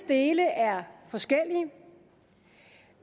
dele er forskellige